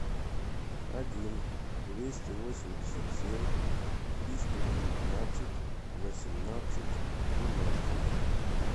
один двести восемьдесят семь триста девятнадцать восемнадцать тринадцать